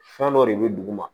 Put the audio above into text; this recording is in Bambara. Fɛn dɔ de bɛ duguma